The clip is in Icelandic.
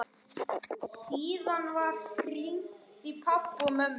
Síðan var hringt í pabba og mömmu.